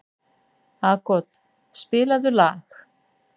Aagot, spilaðu lag.